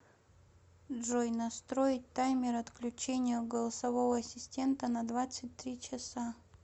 джой настроить таймер отключения голосового ассистента на двадцать три часа